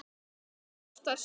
Það hefur kostað sitt.